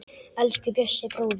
Elsku Bjössi bróðir.